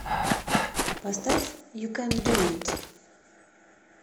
поставь ю кэн ду ит